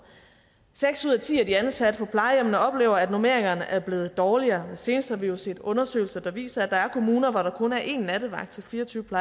seks ud af ti af de ansatte på plejehjemmene oplever at normeringerne er blevet dårligere senest har vi jo set undersøgelser der viser at der er kommuner hvor der kun er én nattevagt til fire og tyve